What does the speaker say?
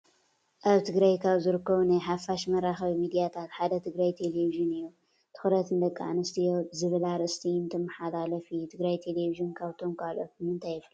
ኣብ ትግራይ ካብ ዝርከቡ ናይ ሓፋሽ መራኸቢ ሚድያታት ሓደ ትግራይ ቴሌቪዥን እዩ፡፡ ትኸረት ንደቂ ኣንስትዮ ዝብል ኣርእስቲ እንትመሓላለፍ እዩ፡፡ ትግራይ ቴሌቪዥን ካብቶም ካልኦት ብምንታይ ይፈለ?